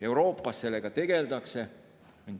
Euroopas sellega tegeldakse.